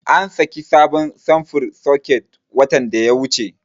An saki sabon samfurin soket watan da ya wuce.